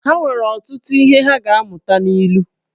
Ha nwere ọtụtụ ihe ha ga-amụta n’ilu